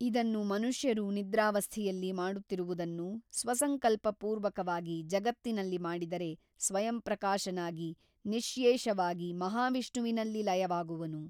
ಇದನ್ನು ಮನುಷ್ಯರು ನಿದ್ರಾವಸ್ಥೆಯಲ್ಲಿ ಮಾಡುತ್ತಿರುವುದನ್ನು ಸ್ವಸಂಕಲ್ಪಪೂರ್ವಕವಾಗಿ ಜಗತ್ತಿನಲ್ಲಿ ಮಾಡಿದರೆ ಸ್ವಯಂಪ್ರಕಾಶನಾಗಿ ನಿಶ್ಯೇಷವಾಗಿ ಮಹಾವಿಷ್ಣುವಿನಲ್ಲಿ ಲಯವಾಗುವನು.